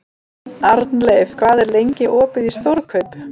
Arnleif, hvað er lengi opið í Stórkaup?